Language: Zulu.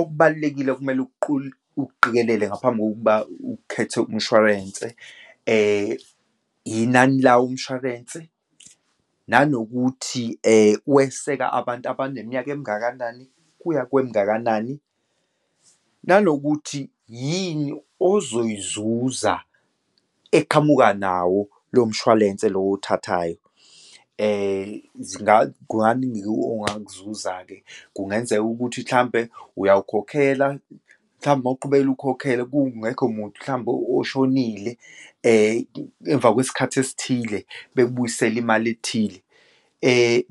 Okubalulekile okumele ukuqikelele ngaphambi kokuba ukhethe umshwarense, inani lawo umshwarense, anokuthi weseka abantu abaneminyaka emingakanani kuya kwemingakanani, nanokuthi yini ozoyizuza, eqhamuka nawo lo mshwalense lo owuthathayo. Kunganingi-ke ongakuzuza-ke, kungenzeka ukuthi mhlampe, uyawukhokhela, mhlawumbe uma uqubekela ukhokhela kungekho muntu, mhlawumbe oshonile, emva kwesikhathi esithile, bekubuyisele imali ethile.